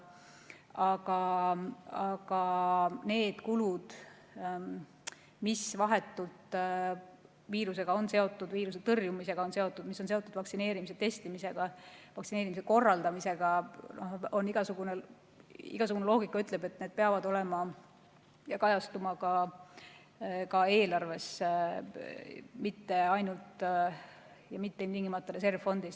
Aga need kulud, mis on vahetult viirusega seotud, viiruse tõrjumisega seotud, mis on seotud vaktsineerimise, testimise ja vaktsineerimise korraldamisega – igasugune loogika ütleb, et need peavad kajastuma ka eelarves, mitte ainult ja mitte ilmtingimata reservfondis.